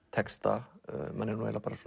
textanum manni er